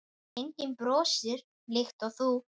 Enginn brosir líkt og þú.